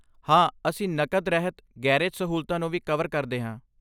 ਹਾਂ, ਅਸੀਂ ਨਕਦ ਰਹਿਤ ਗੈਰੇਜ ਸਹੂਲਤਾਂ ਨੂੰ ਵੀ ਕਵਰ ਕਰਦੇ ਹਾਂ।